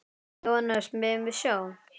Jóhannes: Megum við sjá?